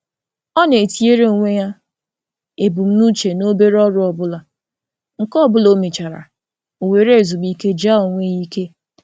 Ọ na-etinye ebumnuche nta ihe o ga eme, ma na-eme emume obere mgbe ọ gachara otu.